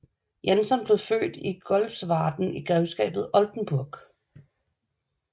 Janson blev født i Golzwarden i grevskabet Oldenburg